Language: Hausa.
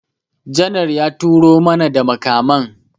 Janar ya turo mana da makaman